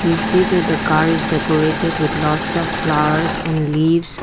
we see that the car is decorated with lots of flowers and leaves.